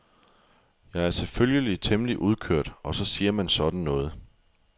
Jeg er selvfølgelig temmelig udkørt og så siger man sådan noget.